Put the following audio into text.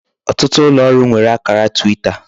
otutu ulooru nwere akara Twita.